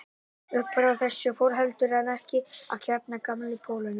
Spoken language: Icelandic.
Uppfrá þessu fór heldur en ekki að kárna gamanið í Pólunum.